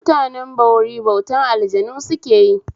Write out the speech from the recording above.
Mutanen bori bautan aljanu sukeyi